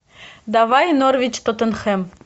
давай норвич тоттенхэм